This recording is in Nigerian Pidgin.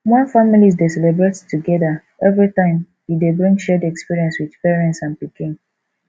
when families de celebrate together everytime e de bring shared experience with parents and pikin